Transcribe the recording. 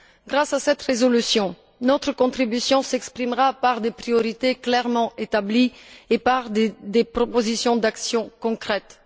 Grâce à cette résolution, notre contribution s'exprimera par des priorités clairement établies et par des propositions d'action concrètes.